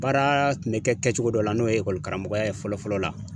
Baara kun be kɛ kɛcogo dɔ la n'o ye ekɔlikaramɔgɔya ye fɔlɔ fɔlɔ la